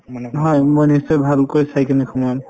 নহয় মই নিশ্চয় ভালকৈ চাই কিনে সোমাম